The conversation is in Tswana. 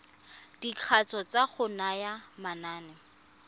dikatso tsa go naya manane